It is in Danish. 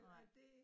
Nej